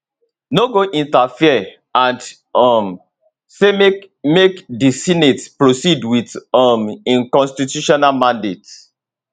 no go interfere and um say make make di senate proceed with um im constitutional mandate